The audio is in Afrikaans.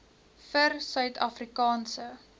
vir suid afrikaanse